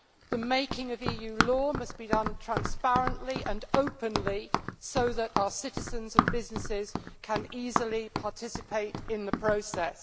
The making of EU law must be done transparently and openly so that our citizens and businesses can easily participate in the process.